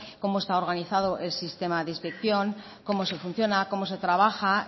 cómo está organizado el sistema de inspección cómo se funciona cómo se trabaja